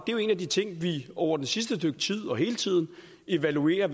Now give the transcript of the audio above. er jo en af de ting vi over det sidste stykke tid og hele tiden evaluerer